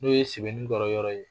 N'o ye sebenikɔrɔ yɔrɔ ye